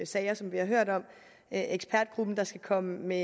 sager som vi har hørt om ekspertgruppen der skal komme med